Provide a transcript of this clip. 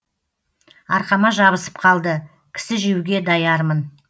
арқама жабысып қалды кісі жеуге даярмын